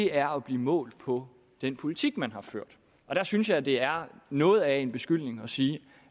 er at blive målt på den politik man har ført der synes jeg det er noget af en beskyldning at sige